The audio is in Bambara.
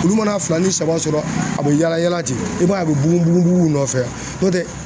Olu mana fila ni saba sɔrɔ a bɛ yala yala ten, i b'a ye a bɛ bugun bugun bugun nɔfɛ yan.